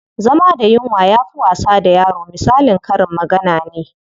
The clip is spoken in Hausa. Zama da yunwa yafi wasa da yaro misalin karin magana ne.